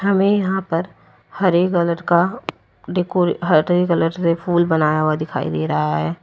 हमें यहां पर हरे कलर का डेकोरे हरे कलर से फूल बनाया हुआ दिखाई दे रहा है।